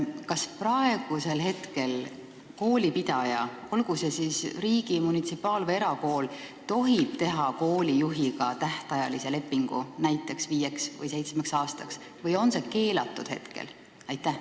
Kas praegu tohib koolipidaja, olgu tegu riigi-, munitsipaal- või erakooliga, teha koolijuhiga tähtajalise lepingu näiteks viieks või seitsmeks aastaks või on see keelatud?